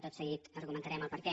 tot seguit argumentarem el perquè